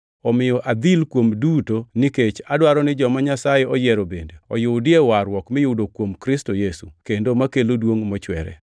Omiyo adhil kuom duto nikech adwaro ni joma Nyasaye oyiero bende oyudie warruok miyudo kuom Kristo Yesu, kendo makelo duongʼ mochwere.